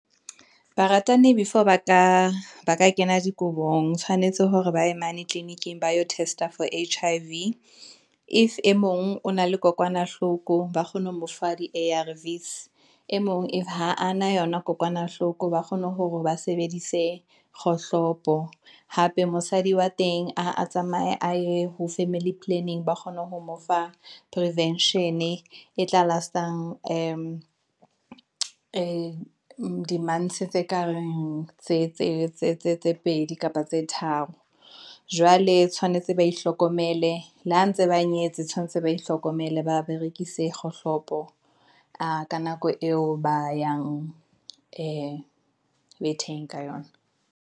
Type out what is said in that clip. Baratani before ba ka kena dikobong tshwanetse hore ba ye mane clinic-ing ba yo test-a or H_I_V if e mong o na le kokwanahloko, ba kgone ho mofa di-A_R_V's e mong ha a na yona kokwanahloko ba kgone hore ba sebedise kgohlopo. Hape mosadi wa teng a tsamaye a ye ho family planning ba kgone ho mo fa prevention e tla last-ang di-months-e tse ka tse pedi kapa tse tharo, jwale tshwanetse ba ihlokomelle le ha ntse ba nyetse tshwanetse ba ihlokomela ba berekise kgohlopo ka nako eo ba yang betheng ka yona.